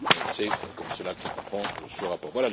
C'est comme cela que je comprends ce rapport.